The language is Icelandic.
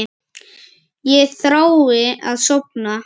Ég þrái að sofna.